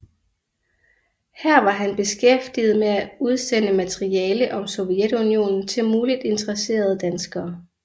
Her var han beskæftiget med at udsende materiale om Sovjetunionen til muligt interesserede danskere